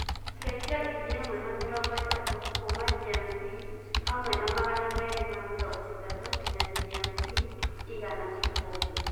cenjĩa ngiriĩmwe na mĩrongo itatu kũma g.m.t hamwe na magana merĩ ma mĩrongo itatu nginya g.m.t igana kibugu